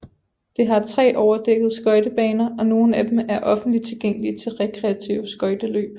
Det har tre overdækkede skøjtebaner og nogle af dem er offentligt tilgængelige til rekreative skøjteløb